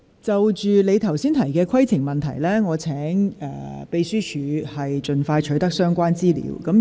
就鄭松泰議員剛才提出的規程問題，請秘書處人員盡快取得相關資料。